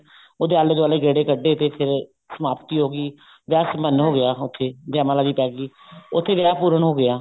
ਉਹਦੇ ਆਲੇ ਦਵਾਲੇ ਗੇੜੇ ਕੱਡੇ ਤੇ ਫੇਰ ਸਮਾਪਤੀ ਹੋ ਗਈ ਵਿਆਹ ਸੰਪੰਨ ਹੋ ਗਿਆ ਉੱਥੇ ਜੈਅ ਮਾਲਾ ਵੀ ਪੈ ਗਈ ਉੱਥੇ ਵਿਆਹ ਪੂਰਨ ਹੋ ਗਿਆ